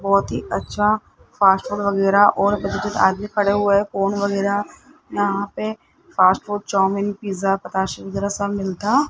बहुत ही अच्छा फास्टफूड वगैरह और आदमी खड़े हुए हैं फोन वगैरह यहां पे फास्ट फूड चाऊमीन पिज़्ज़ा पताशे वगैरह सब मिलता --